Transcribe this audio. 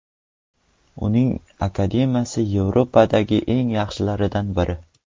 Uning akademiyasi Yevropadagi eng yaxshilardan biri.